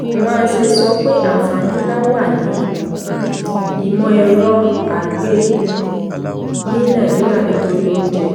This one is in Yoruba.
nwanze sọ pé àǹfààní nlá wà ní ìmọ̀-ẹ̀rọ àgbè ní nàìjíríà nítorí oúnjẹ.